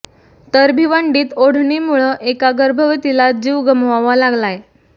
तर भिवंडीत ओढळणीमुळं एका गर्भवतीला जीव गमवावा लागलाय